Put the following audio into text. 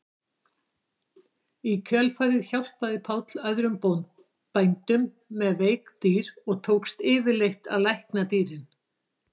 Í kjölfarið hjálpaði Páll öðrum bændum með veik dýr og tókst yfirleitt að lækna dýrin.